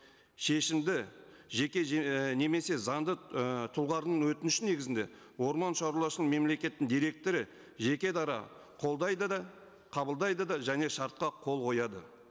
шешімді жеке ііі немесе заңды ы өтініше негізінде мемлекеттің директоры жеке дара қолдайды да қабылдайды да және шартқа қол қояды